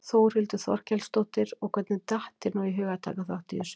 Þórhildur Þorkelsdóttir: Og hvernig datt þér nú í hug að taka þátt í þessu?